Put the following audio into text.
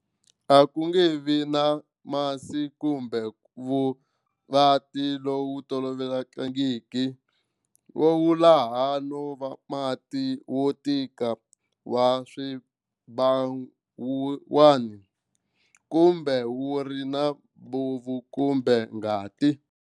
A ku nge vi na masi kumbe vu va ti lowu tolovelekangiki, va vula hano va mati, wo tika wa swibawuwana, kumbe wu ri na bofu kumbe ngati.